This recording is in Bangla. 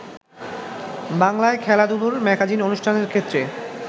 বাংলায় খেলাধুলোর ম্যাগাজিন অনুষ্ঠানের ক্ষেত্রে